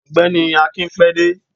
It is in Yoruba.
ọgbẹni akín pé dẹ